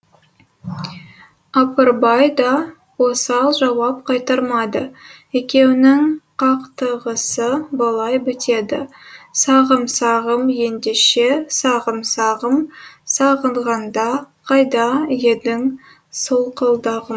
апырбай да осал жауап қайтармайды екеуінің қақтығысы былай бітеді сағым сағым ендеше сағым сағым сағынғанда қайда едің солқылдағым